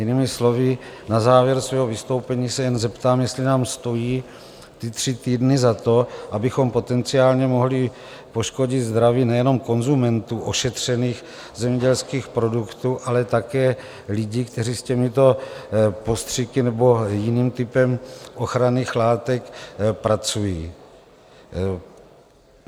Jinými slovy, na závěr svého vystoupení se jenom zeptám, jestli nám stojí ty tři týdny za to, abychom potenciálně mohli poškodit zdraví nejenom konzumentům ošetřených zemědělských produktů, ale také lidí, kteří s těmito postřiky nebo jiným typem ochranných látek pracují.